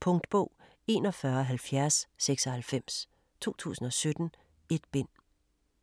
Punktbog 417096 2017. 1 bind.